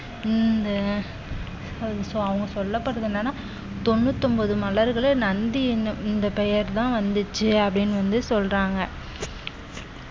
இந்த அவங்க சொல்லப்படறது என்னன்னா தொண்ணூத்தொன்பது மலர்கள நந்தி எண்ணும் இந்த பெயர்தான் வந்துச்சு அப்படின்னு வந்து சொல்றாங்க